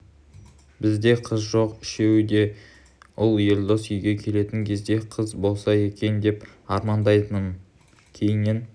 бізде қыз жоқ үшеуі де ұл елдос дүниеге келетін кезде қыз болса екен деп армандайтынмын кейіннен